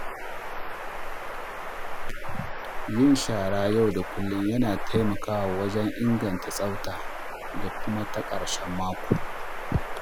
Yin shara yau da kullum na taimakawa wajen inganta tsafta, da kuma ta ƙarshen mako.